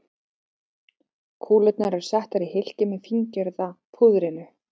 Kúlurnar eru settar í hylkið með fíngerða púðrinu.